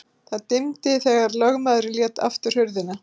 Það dimmdi þegar lögmaðurinn lét aftur hurðina.